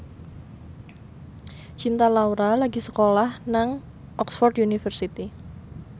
Cinta Laura lagi sekolah nang Oxford university